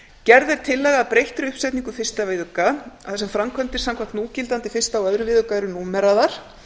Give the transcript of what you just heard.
gerð er tillaga að breyttri uppsetningu fyrsta viðauka þar sem framkvæmdir samkvæmt núgildandi fyrstu og öðrum viðauka eru númeraðar